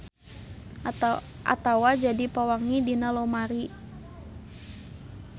Atawa jadi pewangi dina lomari.